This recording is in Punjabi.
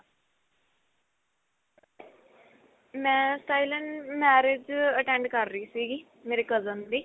ਮੈਂ ਸਟਾਇਲਨ marriage attend ਕ਼ਰ ਰਹੀ ਸੀਗੀ ਮੇਰੇ cousin ਦੀ